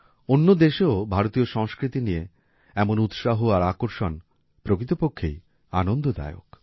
অন্য দেশেও ভারতীয় সংস্কৃতি নিয়ে এমন উৎসাহ আর আকর্ষণ প্রকৃতপক্ষেই আনন্দদায়ক